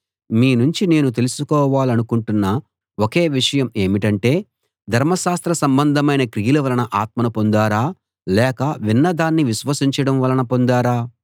మీ నుంచి నేను తెలుసుకోవాలనుకుంటున్న ఒకే విషయం ఏమిటంటే ధర్మశాస్త్ర సంబంధమైన క్రియల వలన ఆత్మను పొందారా లేక విన్న దాన్ని విశ్వసించడం వలన పొందారా